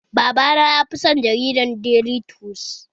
Baba na yafi son jaridar daily trust